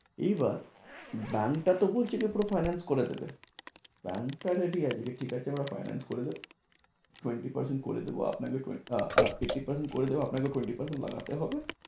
এইবার bank টা তবু হচ্ছে গিয়ে পুরো finance করে দেবে। bank টা আছে ঠিক আছে কে ঠিক আছে এবার finance করে দেবে, tewnty percent করে দেব আপনাকে twenty আ~ হা fifteen percent করে দেব আপনাকেও twenty percent বাড়াতে হবে।